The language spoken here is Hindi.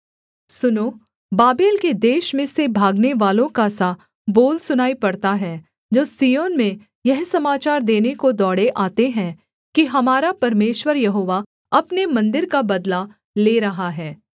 सुनो बाबेल के देश में से भागनेवालों का सा बोल सुनाई पड़ता है जो सिय्योन में यह समाचार देने को दौड़े आते हैं कि हमारा परमेश्वर यहोवा अपने मन्दिर का बदला ले रहा है